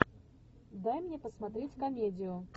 дай мне посмотреть комедию